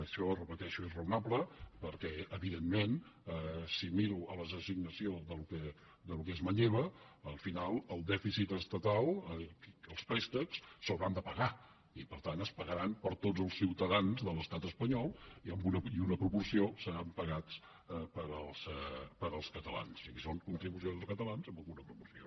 això ho repeteixo és raonable perquè evidentment si miro l’assignació del que es manlleva al final el dèficit estatal els préstecs s’hauran de pagar i per tant es pagaran per tots els ciutadans de l’estat espanyol i en una proporció seran pagats pels catalans o sigui són contribucions dels catalans en alguna proporció